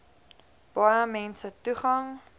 baie mense toegang